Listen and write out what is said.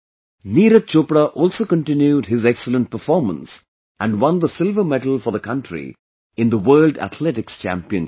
Neeraj Chopra also continued his excellent performance and won the silver medal for the country in the World Athletics Championship